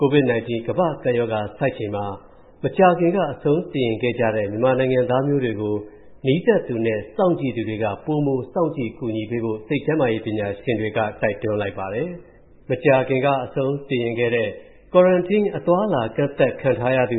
COVID-19 ကမ္ဘာ့ကပ်ရောဂါ ဖြစ်နေတဲ့ကာလအတွင်း မကြာသေးခင်က အဆုံးစီရင်ခဲ့ကြတဲ့ မြန်မာနိုင်ငံသားတွေမျိုးကို နီးစပ်သူနဲ့စောင့်ကြည့်သူတွေက ပိုမို စောင့်ကြည့်၊ ကူညီပေးဖို့ စိတ်ကျန်းမာရေးပညာရှင်တွေက တိုက်တွန်းလိုက်ပါတယ်။ ပုသိမ်မြို့မှာ မကြာသေးခင်က အဆုံးစီရင်ခဲ့တဲ့သူဟာ Quarantine အသွားအလာ ကန့်သတ်ခံထားရသ